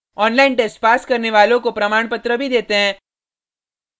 online test pass करने वालों को प्रमाणपत्र भी देते हैं